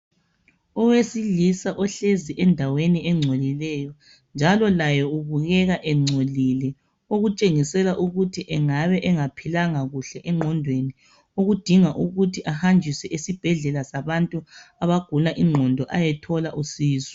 Owesilisa ohlezi endaweni engcolileyo njalo laye ubukeka engcolile okutshengisela ukuthi engabe engaphilanga kuhle engqondweni okudinga ukuthi ahanjiswe esibhedlela sabantu abagula ingqondo ayethola usizo.